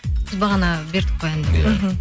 біз бағана бердік қой әнді